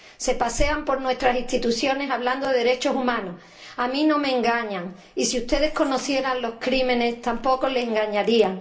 Se pasean por nuestras instituciones hablando de derechos humanos a mí no me engañan y si ustedes conocieran sus crímenes, tampoco les engañarían.